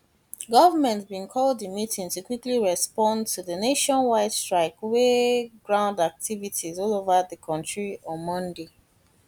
goment bin call di di meeting to quickly respond to di nationwide strike wey ground activities all over di kontri on monday